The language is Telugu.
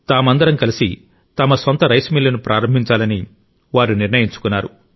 తామందరం కలిసి తమ సొంత రైస్ మిల్లును ప్రారంభించాలని వారు నిర్ణయించుకున్నారు